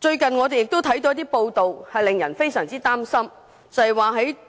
最近有些報道令人非常擔心，揭示